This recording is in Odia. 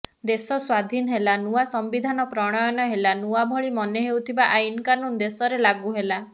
ଦେଶ ସ୍ୱାଧିନ ହେଲା ନୂଆ ସମ୍ବିଧାନ ପ୍ରଣୟନ ହେଲା ନୂଆଭଳି ମନେହେଉଥିବା ଆଇନ୍ କାନୁନ୍ ଦେଶରେ ଲାଗୁ ହେଲା